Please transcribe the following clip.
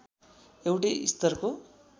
एउटै स्तरको